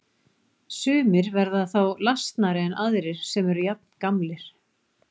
Sumir verða þá lasnari en aðrir sem eru jafngamlir.